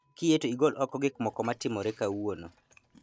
Kiyie to igol oko gik moko matimore kawuono